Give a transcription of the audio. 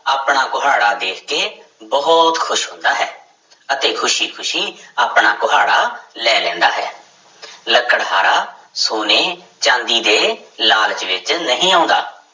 ਆਪਣਾ ਕੁਹਾੜਾ ਦੇਖ ਕੇ ਬਹੁਤ ਖ਼ੁਸ਼ ਹੁੰਦਾ ਹੈ ਅਤੇ ਖ਼ੁਸ਼ੀ ਖ਼ੁਸ਼ੀ ਆਪਣਾ ਕੁਹਾੜਾ ਲੈ ਲੈਂਦਾ ਹੈ ਲੱਕੜਹਾਰਾ ਸੋਨੇ, ਚਾਂਦੀ ਦੇ ਲਾਲਚ ਵਿੱਚ ਨਹੀਂ ਆਉਂਦਾ।